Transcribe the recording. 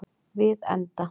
Við enda